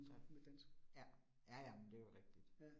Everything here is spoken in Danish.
Ja, ja. Ja ja, men det jo rigtigt